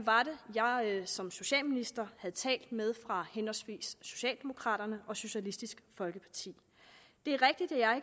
det var jeg som socialminister havde talt med fra henholdsvis socialdemokraterne og socialistisk folkeparti det er rigtigt at jeg